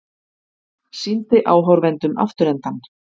Sýndi áhorfendum afturendann